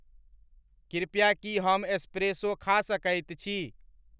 कृपया की हम एस्प्रेसो खा सकइत छी?